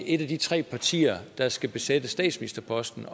et af de tre partier der skal besætte statsministerposten